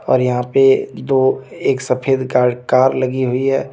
और यहां पे दो एक सफेद कर कार लगी हुई है।